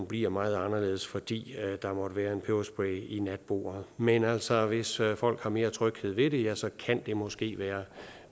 bliver meget anderledes fordi der måtte være en peberspray i natbordet men altså hvis folk har mere tryghed ved det ja så kan det måske være